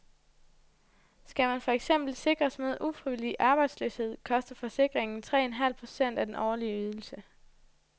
Skal man for eksempel sikres mod ufrivillig arbejdsløshed, koster forsikringen tre en halv procent af den årlige ydelse.